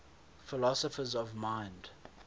philosophers of mind